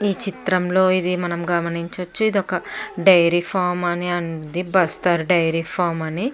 ఈ చిత్రం లో ఇది మనం గమనించ వచ్చు ఇది ఒక డైరీ ఫార్మ్ అని ఉంది బస్తర్ డైరీ ఫార్మ్ అని --